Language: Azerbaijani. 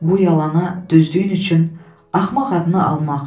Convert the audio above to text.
Bu yalana düzdüyün üçün axmaq adını almaq.